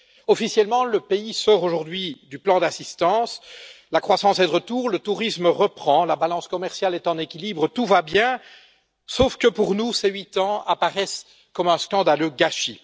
Officiellement, le pays sort aujourd'hui du plan d'assistance, la croissance est de retour, le tourisme reprend, la balance commerciale est en équilibre, tout va bien, sauf que pour nous, ces huit ans apparaissent comme un scandaleux gâchis.